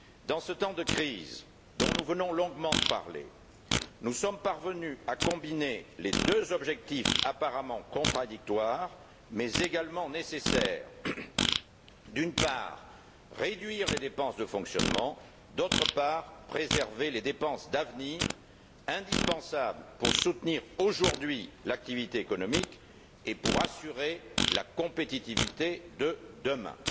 En ces temps de crise, dont nous venons longuement de parler, nous sommes parvenus à combiner deux objectifs apparemment contradictoires, mais également nécessaires d'une part, réduire les dépenses de fonctionnement et, d'autre part, préserver les dépenses d'avenir indispensables pour soutenir aujourd'hui l'activité économique et pour assurer la compétitivité de demain.